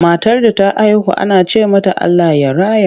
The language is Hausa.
Matar da ta haihu ana ce mata Allah ya raya.